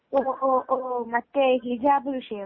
ഓഹ് ഓഓഓ മറ്റേത് ഹിജാബ് വിഷയം അല്ലെ